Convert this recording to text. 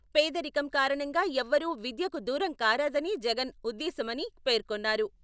పేదరికం కారణంగా ఎవ్వరూ విద్యకు దూరం కారాదని జగన్ ఉద్దేశ్యమని పేర్కొన్నారు.